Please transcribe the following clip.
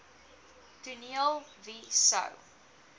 toneel wie sou